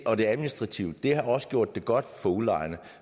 og det administrative har også gjort det godt for udlejerne